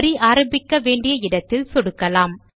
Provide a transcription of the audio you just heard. வரி ஆரம்பிக்க வேண்டிய இடத்தில் சொடுக்கலாம்